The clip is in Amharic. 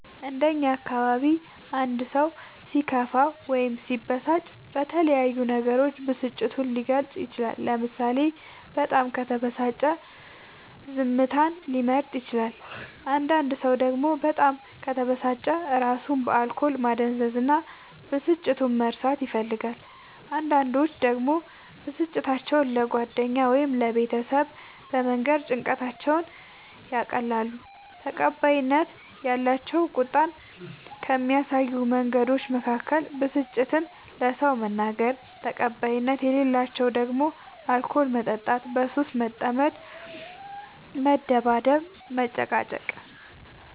እንደ እኛ አካባቢ አንድ ሰው ሲከፋው ወይም ሲበሳጭ በተለያዩ ነገሮች ብስጭቱን ሊገልፅ ይችላል ለምሳሌ በጣም ከተበሳጨ ዝምታን ሊመርጥ ይችላል አንዳንድ ሰው ደግሞ በጣም ከተበሳጨ እራሱን በአልኮል ማደንዘዝ እና ብስጭቱን መርሳት ይፈልጋል አንዳንዶች ደግሞ ብስጭታቸው ለጓደኛ ወይም ለቤተሰብ በመንገር ጭንቀታቸውን ያቀላሉ። ተቀባይነት ያላቸው ቁጣን ከሚያሳዩ መንገዶች መካከል ብስጭትን ለሰው መናገር ተቀባይነት የሌላቸው ደግሞ አልኮል መጠጣት በሱስ መጠመድ መደባደብ መጨቃጨቅ